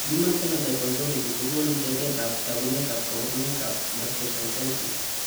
Human Phenotype Ontology kogonu tetet ab tagunet ak kabarunaik ab gastroschisis